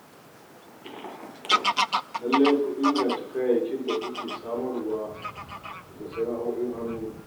Lallai ku inganta kayayyakin da kuke samar wa daga sana'o'in hannu.